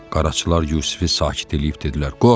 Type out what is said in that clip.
Qaraçılar Yusifi sakit eləyib dedilər: